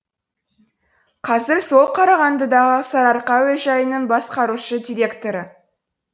қазір сол қарағандыдағы сарыарқа әуежайының басқарушы директоры